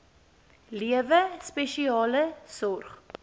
lewe spesiale sorg